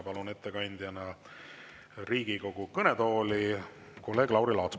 Palun ettekandjana Riigikogu kõnetooli kolleeg Lauri Laatsi.